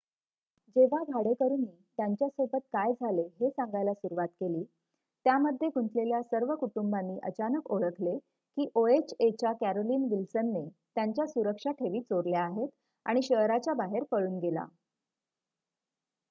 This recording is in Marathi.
जेव्हा भाडेकरूनी त्यांच्या सोबत काय झाले हे सांगायला सुरवात केली त्यामध्ये गुंतलेल्या सर्व कुटुंबांनी अचानक ओळखले की ओएचए च्या कॅरोलीन विल्सनने त्यांच्या सुरक्षा ठेवी चोरल्या आहेत आणि शहराच्या बाहेर पळून गेला